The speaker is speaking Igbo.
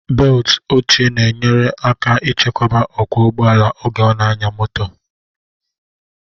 Beltu oche na enyere aka ịchekwaba okwu ụgbọala oge ọ na anya moto